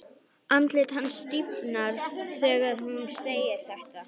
Andlit hans stífnar þegar hún segir þetta.